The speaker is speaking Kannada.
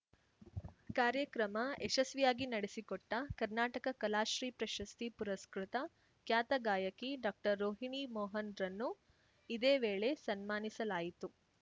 ಕಾರ್ಯಕ್ರಮ ಯಶಸ್ವಿಯಾಗಿ ನಡೆಸಿಕೊಟ್ಟ ಕರ್ನಾಟಕ ಕಲಾಶ್ರೀ ಪ್ರಶಸ್ತಿ ಪುರಸ್ಕೃತ ಖ್ಯಾತ ಗಾಯಕಿ ಡಾಕ್ಟರ್ರೋಹಿಣಿ ಮೋಹನ್‌ರನ್ನು ಇದೇ ವೇಳೆ ಸನ್ಮಾನಿಸಲಾಯಿತು